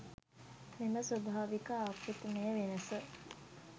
මෙම ස්වභාවික ආකෘතිමය වෙනස